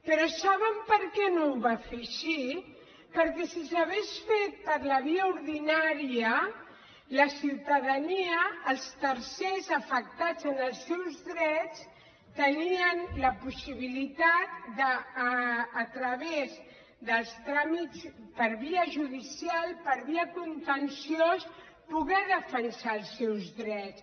però saben per què no ho va fer així perquè si s’hagués fet per la via ordinària la ciutadania els tercers afectats en els seus drets tenien la possibilitat de a través dels tràmits per via judicial per via contenciosa poder defensar els seus drets